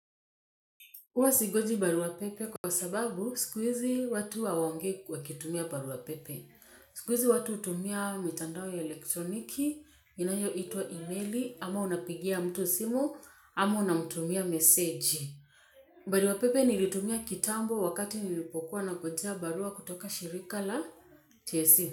Huwa singoji barua pepe kwa sababu siku hizi watu hawaongei wakitumia barua pepe. Sikuizi watu utumia mitandao ya elektroniki, inayoituwa emaili, ama unapigia mtu simu, ama unamtumia mesegi. Barua pepe nilitumia kitambo wakati nilipokuwa nangojea barua kutoka shirika la TSC.